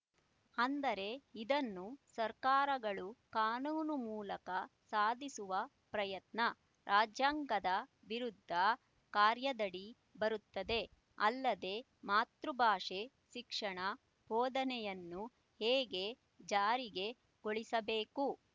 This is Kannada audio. ಅಂದರೆ ಇದನ್ನು ಸರ್ಕಾರಗಳು ಕಾನೂನು ಮೂಲಕ ಸಾಧಿಸುವ ಪ್ರಯತ್ನ ರಾಜ್ಯಾಂಗದ ವಿರುದ್ಧ ಕಾರ್ಯದಡಿ ಬರುತ್ತದೆ ಅಲ್ಲದೆ ಮಾತೃಭಾಷೆ ಶಿಕ್ಷಣ ಬೋಧನೆಯನ್ನು ಹೇಗೆ ಜಾರಿಗೆ ಗೊಳಿಸಬೇಕು